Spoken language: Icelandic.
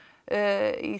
í